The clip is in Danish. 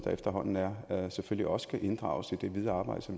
efterhånden er selvfølgelig også skal inddrages i det videre arbejde